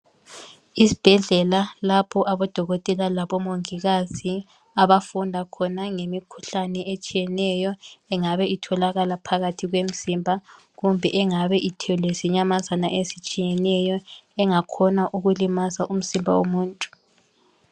Isibhedlela lapho odokotela labo mongikazi abafunda khona ngemikhuhlane etshiyeneyo engabe itholakala phakathi kwemzimba kumbe engabe ithwele zinyamazana ezitshiyeneyo engakhona ukulimaza umzimba womuntu.